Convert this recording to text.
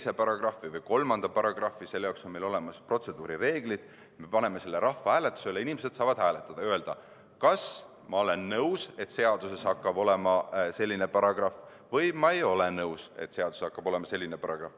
Sa kirjutad ühe, teise või kolmanda paragrahvi – selle jaoks on meil olemas protseduurireeglid –, me paneme selle rahvahääletusele ning inimesed saavad hääletada ja öelda, kas nad on nõus, et seaduses hakkab olema selline paragrahv, või nad ei ole nõus, et seaduses hakkab olema selline paragrahv.